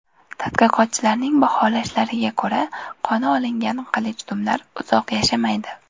Tadqiqotchilarning baholashlariga ko‘ra, qoni olingan qilichdumlar uzoq yashamaydi.